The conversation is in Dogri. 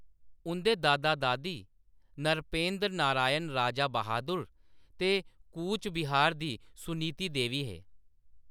उंʼदे दादा-दादी नरपेंद्र नारायण राजा बहादुर ते कूचबिहार दी सुनीति देवी हे।